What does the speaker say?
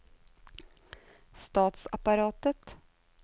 statsapparatet